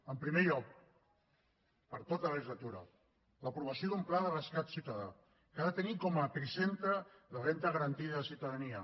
en primer lloc per a tota la legislatura l’aprovació d’un pla de rescat ciutadà que ha de tenir com a epicentre la renda garantida de ciutadania